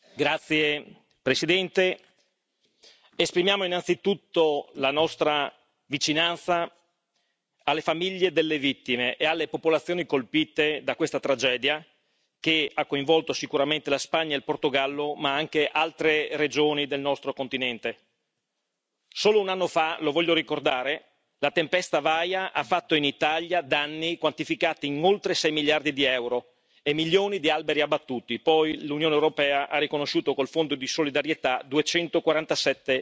Signor Presidente, onorevoli colleghi, esprimiamo innanzitutto la nostra vicinanza alle famiglie delle vittime e alle popolazioni colpite da questa tragedia, che ha coinvolto sicuramente la Spagna, il Portogallo, ma anche altre regioni del nostro continente. Solo un anno fa, lo voglio ricordare, la tempesta Vaia ha fatto in Italia danni quantificati in oltre 6 miliardi di euro e milioni di alberi abbattuti, poi l'Unione europea ha riconosciuto con il fondo di solidarietà 247 milioni.